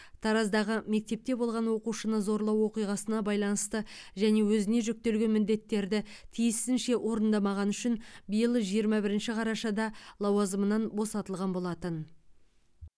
тараздағы мектепте болған оқушыны зорлау оқиғасына байланысты және өзіне жүктелген міндеттерді тиісінше орындамағаны үшін биыл жиырма бірінші қарашада лауазымынан босатылған болатын